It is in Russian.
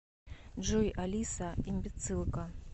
джой алиса имбецилка